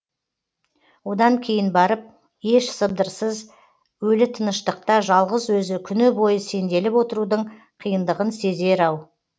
одан кейін барып еш сыбдырсыз өлі тыныштықта жалғыз өзі күні бойы сенделіп отырудың қиындығын сезер ау